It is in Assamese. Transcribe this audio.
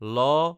ল